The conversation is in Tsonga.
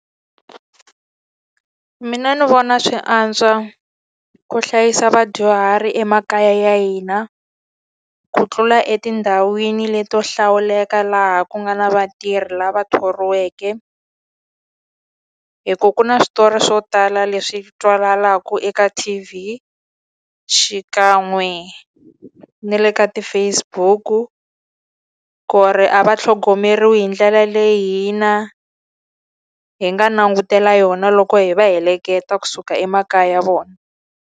Mina ni vona swi antswa ku hlayisa vadyuhari emakaya ya hina ku tlula etindhawini leti to hlawuleka laha ku nga na vatirhi lava thoriweke. Hikuva ku na switori swo tala leswi twakalaka eka T_V, xikan'we na le ka ti-Facebook-u, ku ri a va tlhogomeriwi hi ndlela leyi hina hi nga langutela yona loko hi va heleketa kusuka emakaya ya vona.